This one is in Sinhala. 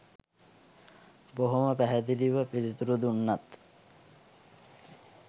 බොහොම පැහැදිලිව පිළිතුරු දුන්නත්